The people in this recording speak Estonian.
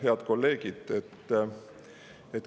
Head kolleegid!